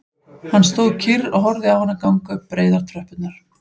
Hann stóð kyrr og horfði á hana ganga upp breiðar tröppurnar